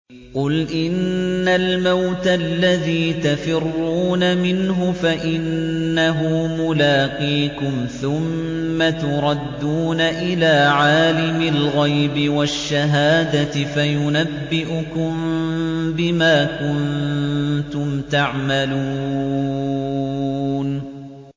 قُلْ إِنَّ الْمَوْتَ الَّذِي تَفِرُّونَ مِنْهُ فَإِنَّهُ مُلَاقِيكُمْ ۖ ثُمَّ تُرَدُّونَ إِلَىٰ عَالِمِ الْغَيْبِ وَالشَّهَادَةِ فَيُنَبِّئُكُم بِمَا كُنتُمْ تَعْمَلُونَ